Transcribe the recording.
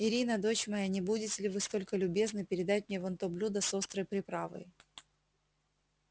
ирина дочь моя не будете ли вы столько любезны передать мне вон то блюдо с острой приправой